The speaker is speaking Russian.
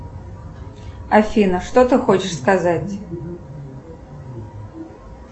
афина что ты хочешь сказать